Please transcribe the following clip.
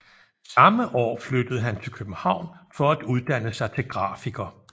Samme år flyttede han til København for at uddanne sig til grafiker